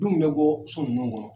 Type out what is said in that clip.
Denw bɛ gɔ so ninnu kɔnɔ.